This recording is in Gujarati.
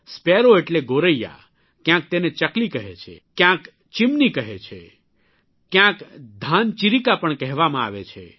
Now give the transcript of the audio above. સ્પેરો એટલે ગોરૈયા કયાંક તેને ચકલી કહે છે કયાંચ ચિમની કહે છે કયાંક ધાન ચીરીકા પણ કહેવામાં આવે છે